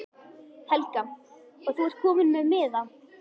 Helga: Og þú ert kominn með miða?